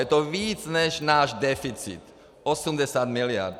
Je to víc, než náš deficit, 80 miliard.